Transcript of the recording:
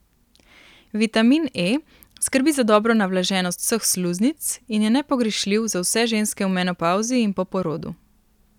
Vitamin E skrbi za dobro navlaženost vseh sluznic in je nepogrešljiv za vse ženske v menopavzi in po porodu.